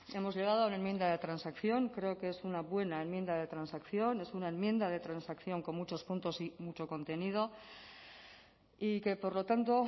hemos llegado a una enmienda de transacción creo que es una buena enmienda de transacción es una enmienda de transacción con muchos puntos y mucho contenido y que por lo tanto